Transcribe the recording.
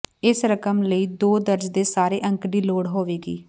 ਇਸ ਰਕਮ ਲਈ ਦੋ ਦਰਜ ਦੇ ਸਾਰੇ ਅੰਕ ਦੀ ਲੋੜ ਹੋਵੇਗੀ